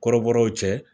Kɔrɔbɔrɔw cɛ